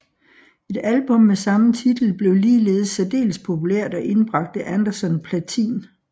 Et album med samme titel blev ligeledes særdeles populært og indbragte Anderson platin